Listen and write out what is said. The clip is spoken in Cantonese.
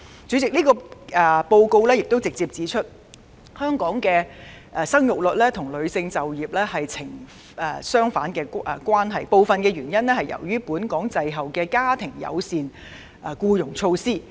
主席，該報告亦直接指出，香港的生育率和女性就業率成反比，部分由於香港滯後實施家庭友善僱傭措施。